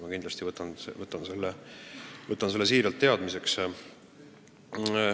Ma kindlasti võtan selle teadmiseks.